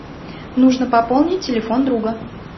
нужно пополнить телефон друга